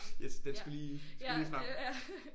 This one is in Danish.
Yes den skulle lige skulle lige frem